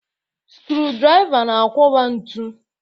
Skrụ-drịva na-akwọba ntu.